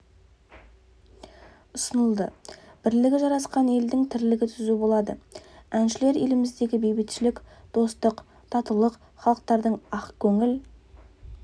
ұсынылды бірлігі жарасқан елдің тірлігі түзу болады әншілер еліміздегі бейбітшілік достық татулық халықтардың ақ көңіл